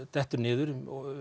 dettur niður